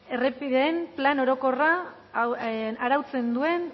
errepideen plan orokorra arautzen duen